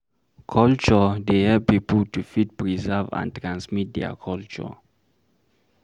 Culture dey help pipo to fit preserve and transmit their culture